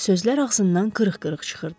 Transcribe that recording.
Sözlər ağzından qırıq-qırıq çıxırdı.